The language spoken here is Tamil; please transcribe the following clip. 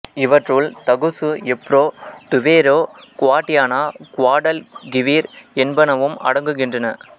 இவற்றுள் Tagus Ebro Duero Guadiana Guadalquivir என்பனவும் அடங்குகின்றன